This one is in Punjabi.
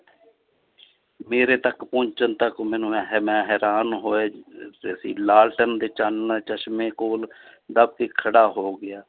ਮੇਰੇ ਤੱਕ ਪਹੁੰਚਣ ਤੱਕ ਮੈਨੂੰ ਮੈਂ ਹੈਰਾਨ ਹੋਏ ਲਾਲਟਣ ਦੇ ਚਾਨਣ ਚਸ਼ਮੇ ਕੋਲ ਦੱਬ ਕੇ ਖੜਾ ਹੋ ਗਿਆ